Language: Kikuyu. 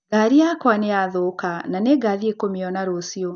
Ngari yakwa nĩ yathũka, na nĩ ngathiĩ kũmĩona rũciũ.